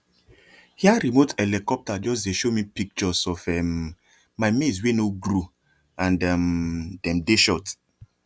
air remote helicopter just dey show me pictures of um my maize wey no grow and um dem dey short